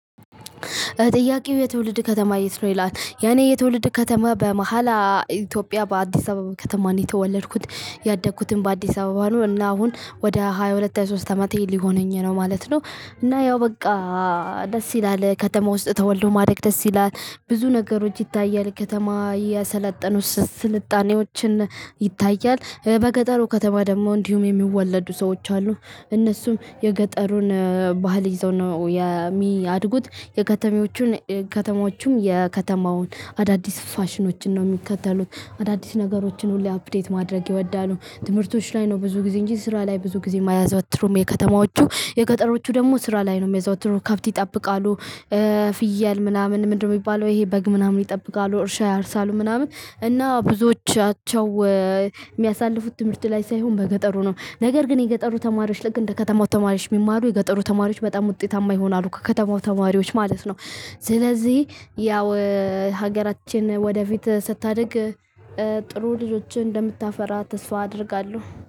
ጥያቄው የትውልድ ከተማ የት ነው? ይላል። የኔ የትውልድ ከተማ በመሃል ኢትዮጵያ በአዲስ አበባ ከተማ ነው የተወለድኩት። ያደግኩትም በአዲስ አበባ ነው። እና አሁን ወደ ሃያ ሁለት ሃያ ሶስት አመቴ ሊሆነኝ ነው ማለት ነው። እና ያው በቃ- ደስ ይላል ከተማ ውስጥ ተወልዶ ማደግ ደስ ይላል። ብዙ ነገሮች ይታያል ከተማ ያሰለጠኑት ስልጣኔዎች ይታያል። በገጠሩ ከተማ ደግሞ እንዲሁም የሚወለዱ ሰዎች አሉ። እነሱም የገጠሩን ባህል ይዘው ነው የሚያድጉት። የከተሜዎቹን- ከተማዎቹም የከተማውን አዳዲስ ፋሽኖችን ነው የሚከተሉት። አዳዲስ ነገሮችን ሁሌ አፕዴት ማድረግ ይወዳሉ። ትምህርቶች ላይ ነው ብዙ ጊዜ እንጂ ስራ ላይ ብዙ ጊዜ አያዘወትሩም የከተማዎቹ። የገጠሮቹ ደግሞ ስራ ላይ ነው የሚያዘወትሩ ከብት ይጠብቃሉ- ፍየል ምናምን ምንድነው የሚባለው ይሄ በግ ምናምን ይጠብቃሉ። እርሻ ያርሳሉ ምናምን እና ብዙዎቻቸው- የሚያሳልፉት ትምህርት ላይ ሳይሆን በገጠሩ ነው። ነገር ግን የገጠሩ ተማሪዎች ልክ እንደ ከተማው ተማሪዎች ቢማሩ የገጠሩ ተማሪዎች በጣም ውጤታማ ይሆናሉ ከከተማው ተማሪዎች ማለት ነው። ስለዚህ ያው ሀገራችን ወደፊት ስታድግ- ጥሩ ልጆችን እንደምታፈራ ተስፋ አደርጋለሁ።